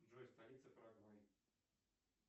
джой столица парагваи